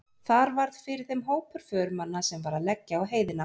Þar varð fyrir þeim hópur förumanna sem var að leggja á heiðina.